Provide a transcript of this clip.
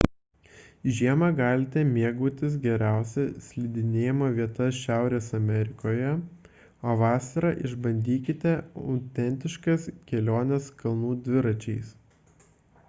žiemą galite mėgautis geriausia slidinėjimo vieta šiaurės amerikoje o vasarą išbandykite autentiškas keliones kalnų dviračiais